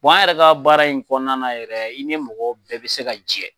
an yɛrɛ ka baara in kɔnɔna na yɛrɛ i ni mɔgɔ bɛɛ bɛ se ka jɛ.